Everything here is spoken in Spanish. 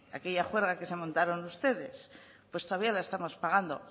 aquella juerga que se montaron ustedes pues todavía la estamos pagando